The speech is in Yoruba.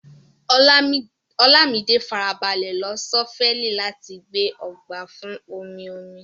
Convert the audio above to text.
Olamide farabalẹ̀ lo ṣọ́fẹ́ẹ̀lì láti gbẹ́ ọgbà fún omi-omi.